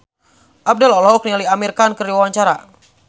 Abdel olohok ningali Amir Khan keur diwawancara